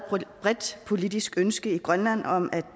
bredt politisk ønske i grønland om at